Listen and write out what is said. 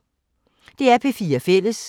DR P4 Fælles